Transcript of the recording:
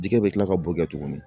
Jɛgɛ bɛ tila ka bo kɛ tuguni